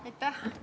Aitäh!